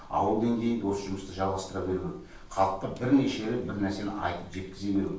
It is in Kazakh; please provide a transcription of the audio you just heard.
ауыл деңгейінде осы жұмысты жалғастыра беру халыққа бірнеше рет бір нәрсені айтып жеткізе беру